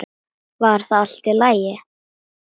Var það allt í lagi?